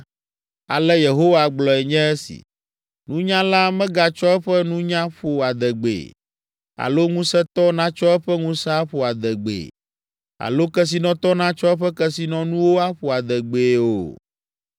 Ale Yehowa gblɔe nye esi: “Nunyala megatsɔ eƒe nunya ƒo adegbee alo ŋusẽtɔ natsɔ eƒe ŋusẽ aƒo adegbee alo kesinɔtɔ natsɔ eƒe kesinɔnuwo aƒo adegbee o,